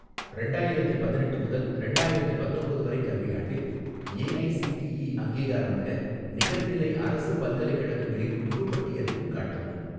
ரெண்டாயிரத்தி பதினெட்டு முதல் ரெண்டாயிரத்தி பத்தொம்போது வரை கல்வியாண்டில் ஏஐஸிடிஇ அங்கீகாரமுள்ள நிகர்நிலை அரசு பல்கலைக்கழகங்களின் முழுப் பட்டியலையும் காட்டவும்.